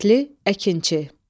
Kəndli, əkinçi.